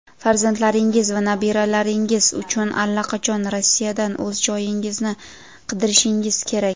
farzandlaringiz va nabiralaringiz uchun allaqachon Rossiyadan o‘z joyingizni qidirishingiz kerak.